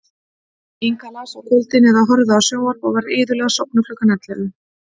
Inga las á kvöldin eða horfði á sjónvarp og var iðulega sofnuð klukkan ellefu.